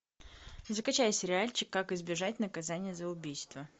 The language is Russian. закачай сериальчик как избежать наказания за убийство